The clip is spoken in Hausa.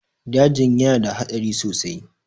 dajin yana da hadari sosai